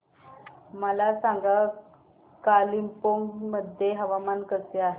मला सांगा कालिंपोंग मध्ये हवामान कसे आहे